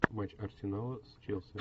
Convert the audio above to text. матч арсенала с челси